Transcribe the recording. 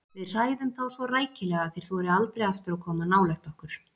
Við hræðum þá svo rækilega að þeir þori aldrei aftur að koma nálægt okkur.